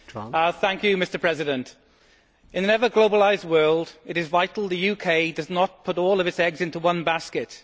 Mr President, in an ever more globalised world it is vital the UK does not put all its eggs into one basket.